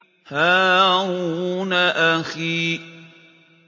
هَارُونَ أَخِي